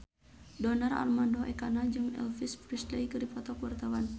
Donar Armando Ekana jeung Elvis Presley keur dipoto ku wartawan